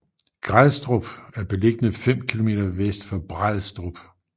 Grædstrup er beliggende fem kilometer vest for Brædstrup